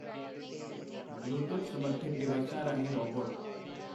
Bluetooth ਸਮਰਥਿਤ ਡਿਵਾਈਸਾਂ ਰਾਹੀਂ ਰੋਬੋਟ।